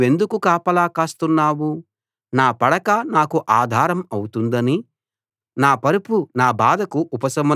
నా పడక నాకు ఆధారం అవుతుందని నా పరుపు నా బాధకు ఉపశమనం కలిగిస్తుందని అనుకున్నాను